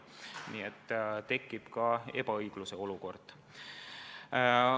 Nii et tekib ka ebaõigluse olukord.